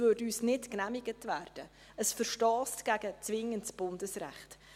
Dies würde uns nicht genehmigt werden, es verstösst gegen zwingendes Bundesrecht.